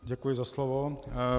Děkuji za slovo.